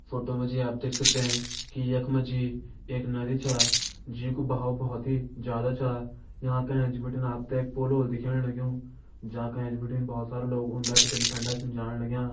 Photo मा जी आप देख सकदें की यख मा जी एक नदी छा जी कु बहाव भोत ही ज्यादा छा यांका एंच बिटिन आप ते एक पुल हुलो दिखेण लग्युंजा का एंच बिटिन बहोत सारा लोग उंडे बिटिन फंडे जाण लग्यां।